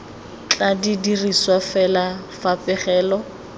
tla dirisiwa fela fa pegelo